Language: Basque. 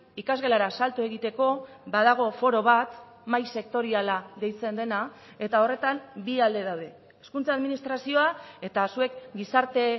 ikasgelara salto egiteko badago foro bat mahai sektoriala deitzen dena eta horretan bi alde daude hezkuntza administrazioa eta zuek gizarte